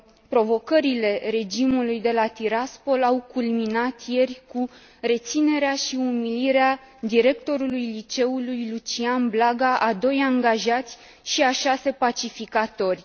Provocările regimului de la Tiraspol au culminat ieri cu reținerea și umilirea directorului liceului Lucian Blaga, a doi angajați și a șase pacificatori.